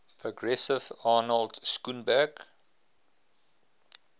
progressive arnold schoenberg